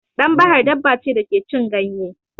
Ɗan bahar daba ce da ke cin ganye.